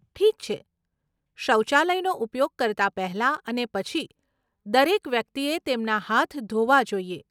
ઠીક છે! શૌચાલયનો ઉપયોગ કરતા પહેલા અને પછી, દરેક વ્યક્તિએ તેમના હાથ ધોવા જોઈએ.